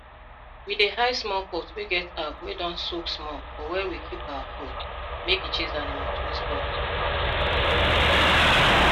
we dey hide small pot wey get herb wey don soak small for where we keep our food make e chase animals wey spoil food